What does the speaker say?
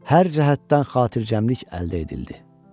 Hər cəhətdən xatircəmlik əldə edildi.